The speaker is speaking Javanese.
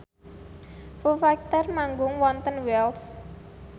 Foo Fighter manggung wonten Wells